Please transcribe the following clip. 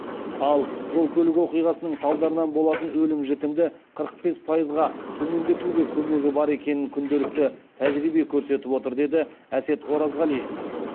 ал жол көлік оқиғасының салдарынан болатын өлім жітімді қырық бес пайызға төмендетуге көмегі бар екенін күнделікті тәжірибе көрсетіп отыр деді әсет оразғалиев